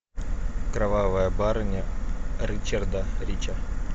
кровавая барыня ричарда рича